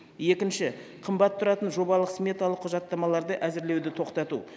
екінші қымбат тұратын жобалық сметалық құжаттамаларды әзірлеуді тоқтату